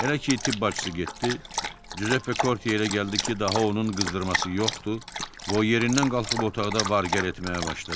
Elə ki, tibb bacısı getdi, Cüzeppe Korte yerə gəldi ki, daha onun qızdırması yoxdur və o yerindən qalxıb otaqda var-gəl etməyə başladı.